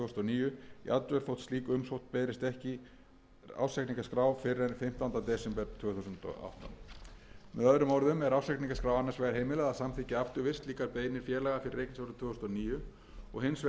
níu jafnvel þótt slík umsókn berist ekki ársreikningaskrá fyrr en fimmtánda desember tvö þúsund og átta með öðrum orðum er ársreikningaskrá annars vegar heimilað að samþykkja afturvirkt slíkar beiðnir félaga fyrir reikningsárið tvö þúsund og átta og hins vegar er framlengdur